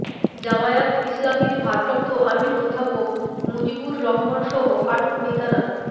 জামায়াত ইসলামীর ভারপ্রাপ্ত আমির অধ্যাপক মুজিবুর রহমানসহ আটক নেতারা